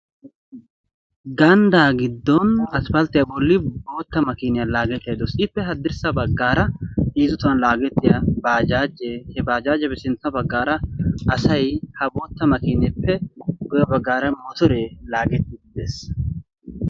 Ganddaa giddon asppaltiya bolli bootta makiiniya laagettaydda de'awusu. Ippe haddirssa bagaara heezzu tohuwan laagettiya baajaajee, he baajaajiyappe sintta baggaara asay, ha bootta makiineeppe guyye baggaara motoree laagettiiddi de'ees.